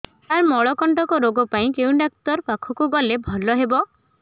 ସାର ମଳକଣ୍ଟକ ରୋଗ ପାଇଁ କେଉଁ ଡକ୍ଟର ପାଖକୁ ଗଲେ ଭଲ ହେବ